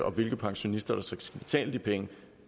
og hvilke pensionister der skal betale de penge